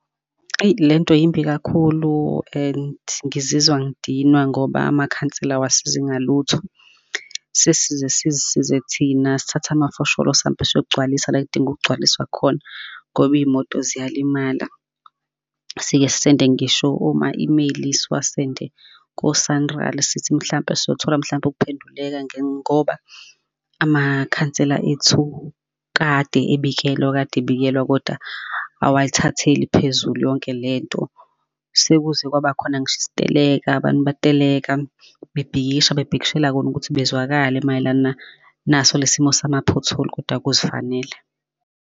Eyi, lento yimbi kakhulu, and ngizizwa ngidinwa ngoba amakhansela awasizi ngalutho. Sesize sizisize thina, sithathe amafosholo sambe sogcwalisa la ekudinga ukugcwaliswa khona, ngoba iy'moto ziyalimala. Sike sisende ngisho oma-email-i siwasende ko-SANRAL, sithi mhlampe siyothola mhlampe ukuphenduleka ngoba, amakhansela ethu kade ebikelwa, kade ebikelwa, kodwa awayithatheli phezulu yonke lento. Sekuze kwaba khona ngisho isiteleka, abantu bateleka, bebhikisha bebhikishela kona ukuthi bezwakala mayelana naso le simo sama pothole, koda kuzifanele.